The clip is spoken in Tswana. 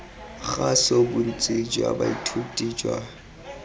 kgaso bontsi jwa baithuti jwa